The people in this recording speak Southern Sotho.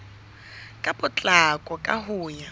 ka potlako ka ho ya